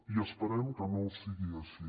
i esperem que no sigui així